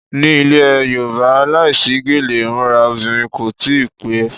Ni ilẹ̀ Yorùbá, láìsí gèlè imura obìnrin kò tí ì pè é.